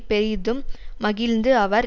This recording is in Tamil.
பெரிதும் மகிழ்ந்து அவர்